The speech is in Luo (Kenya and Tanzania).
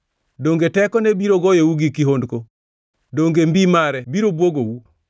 Donge tekone biro goyou gi kihondko? Donge mbi mare biro bwogou?